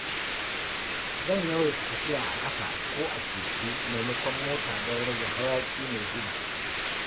Zan yawaita tafiya a ƙafa ko a keke maimakon mota don rage hayaƙi mai guba.